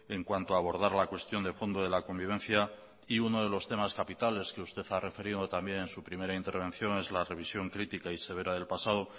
en cuanto a abordar la cuestión de fondo de la convivencia y uno de los temas capitales que usted ha referido también en su primera intervención es la revisión crítica y severa del pasado